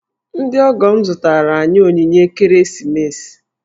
Ndị ọgọ m zụtaara anyị onyinye n'ekeresimesi.